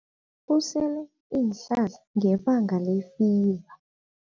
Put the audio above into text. Usele iinhlahla ngebanga lefiva.